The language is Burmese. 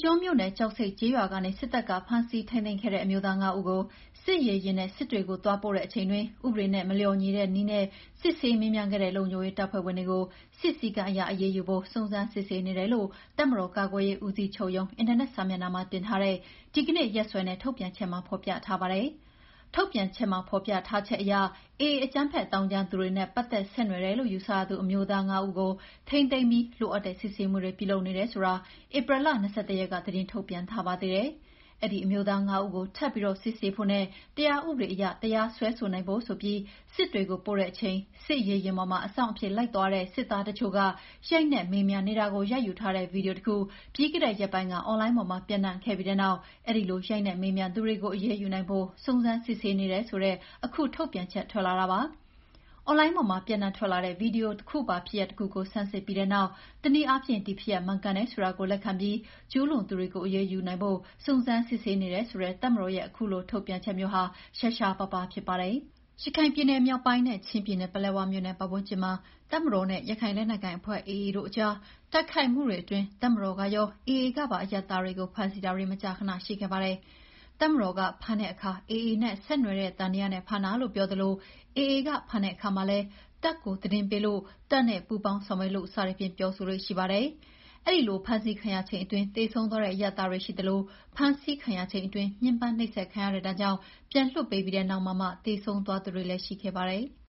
ကျွန်းမြို့နယ်၊ ကျောက်ဆိပ်ကျေးရွာကနေ စစ်တပ်က ဖမ်းဆီးထိန်းသိမ်းခဲ့တဲ့ အမျိုးသား ၅ ဦးကို စစ်ရေယာဉ်နဲ့ စစ်တွေကို သွားပို့တဲ့အချိန်အတွင်း ဥပဒေနဲ့ မလျော်ညီတဲ့နည်းနဲ့ စစ်ဆေးမေးမြန်းခဲ့တဲ့ လုံခြုံရေးတပ်ဖွဲ့ဝင်တွေကို စစ်စည်းကမ်းအရအရေးယူဖို့ စုံစမ်းစစ်ဆေးနေတယ်လို့ တပ်မတော်ကာကွယ်ရေးဦးစီးချုပ်ရုံး အင်တာနက်စာမျက်နှာမှာ တင်ထားတဲ့ ဒီကနေ့ရက်စွဲနဲ့ ထုတ်ပြန်ချက်မှာ ဖော်ပြထားပါတယ်။ ထုတ်ပြန်ချက်မှာ ဖော်ပြထားတာအရ "AA အကြမ်းဖက်သောင်းကျန်းသူတွေနဲ့ ပတ်သက်ဆက်နွယ်တယ်လို့ ယူဆရသူ အမျိုးသား ငါးဦးကို ထိန်းသိမ်းပြီး လိုအပ်တဲ့စစ်ဆေးမှုတွေ ပြုလုပ်နေတယ်။" ဆိုတာ ဧပြီ ၂၁ ရက်က သတင်းထုတ်ပြန်ထားပါသေးတယ်။ အဲဒီအမျိုးသား ၅ ဦးကို ထပ်ပြီး စစ်ဆေးဖို့နဲ့ တရားဥပဒေအရ တရားစွဲဆိုနိုင်ဖို့ဆိုပြီး စစ်တွေကိုပို့တဲ့အချိန် စစ်ရေယာဉ်ပေါ်မှာ အစောင့်အဖြစ် လိုက်သွားတဲ့ စစ်သားတချို့က ရိုက်နှက်မေးမြန်းနေတာကို ရိုက်ယူထားတဲ့ ဗွီဒီယိုတစ်ခု ပြီးခဲ့တဲ့ရက်ပိုင်းက အွန်လိုင်းပေါ်မှာ ပျံ့ခဲ့ပြီးတဲ့နောက် အဲဒီလို ရိုက်နှက်မေးမြန်းသူတွေကို အရေးယူနိုင်ဖို့ စုံစမ်းစစ်ဆေးနေတယ်ဆိုတဲ့ အခုထုတ်ပြန်ချက် ထွက်လာတာပါ။ အွန်လိုင်းပေါ်မှာ ပျံ့နှံ့ထွက်လာတဲ့ ဗွီဒီယိုပါ ဖြစ်ရပ်တစ်ခုကို ဆန်းစစ်ပြီးတဲ့နောက် တနည်းအားဖြင့် ဒီဖြစ်ရပ် မှန်ကန်တယ်ဆိုတာကို လက်ခံပြီး ကျူးလွန်သူတွေကို အရေးယူနိုင်ဖို့ စုံစမ်းစစ်ဆေးနေတယ်ဆိုတဲ့ တပ်မတော်ရဲ့ အခုလိုထုတ်ပြန်ချက်မျိုးဟာ ရှားရှားပါးပါးဖြစ်ပါတယ်။ ရခိုင်ပြည်နယ်မြောက်ပိုင်းနဲ့ ချင်းပြည်နယ်၊ ပလက်ဝမြို့နယ် ပတ်ဝန်းကျင်မှာ တပ်မတော်နဲ့ ရခိုင်လက်နက်ကိုင်အဖွဲ့ AA တို့အကြား တိုက်ခိုက်မှုတွေအတွင်း တပ်မတော်ကရော၊ AA ကပါ အရပ်သားတွေကို ဖမ်းဆီးတာတွေ မကြာခဏ ရှိခဲ့ပါတယ်။ တပ်မတော်က ဖမ်းတဲ့အခါ AA နဲ့ ဆက်နွယ်တဲ့သံသယနဲ့ ဖမ်းတာလို့ ပြောသလို AA က ဖမ်းတဲ့အခါမှာလည်း တပ်ကိုသတင်းပေးလို့၊ တပ်နဲ့ ပူးပေါင်းဆောင်ရွက်လို့ စသည်ဖြင့် ပြောဆိုလေ့ရှိပါတယ်။ အဲဒီလိုဖမ်းဆီးခံရချိန်အတွင်း သေဆုံးသွားတဲ့ အရပ်သားတွေရှိသလို ဖမ်းဆီးခံရချိန်အတွင်း ညှဉ်းပန်းနှိပ်စက်ခံခဲ့ရတဲ့ ဒဏ်ကြောင့် ပြန်လွှတ်ပေးလိုက်ပြီးတဲ့နောက်မှာမှ သေဆုံးသွားသူတွေလည်း ရှိခဲ့ပါတယ်။